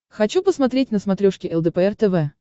хочу посмотреть на смотрешке лдпр тв